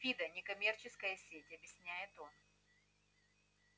фидо некоммерческая сеть объясняет он